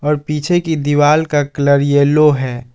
और पीछे की दीवाल का कलर यलो है।